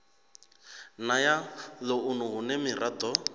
na ya ḽounu hune miraḓo